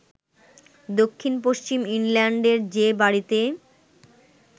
দক্ষিণ-পশ্চিম ইংল্যান্ডের যে বাড়িতে